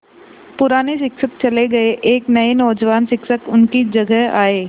पुराने शिक्षक चले गये एक नये नौजवान शिक्षक उनकी जगह आये